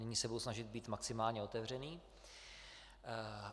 Nyní se budu snažit být maximálně otevřený.